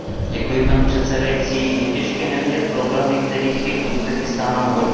Paní předsedající, je těžké nevidět problémy, kterých je v Uzbekistánu hodně.